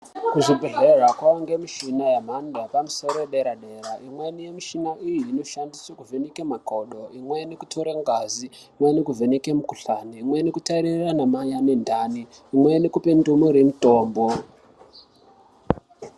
Kuzvibhedhleya kovanikwe mishina yemhando yepamusoro yedera-dera. Imweni yemishina iyi inoshandiswe kuvheneke makodo. Imweni kutora ngazi, imweni kuvheneka mukuhlani. Imwe kutarira anamai ane ndani imwe kupe ndumure mutombo.